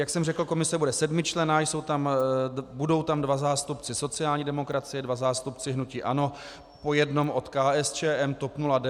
Jak jsem řekl, komise bude sedmičlenná, budou tam dva zástupci sociální demokracie, dva zástupci hnutí ANO, po jednom od KSČM, TOP 09 a ODS.